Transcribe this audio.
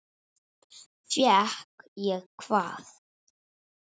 Fékk ég hvað?